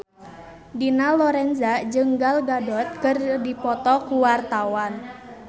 Dina Lorenza jeung Gal Gadot keur dipoto ku wartawan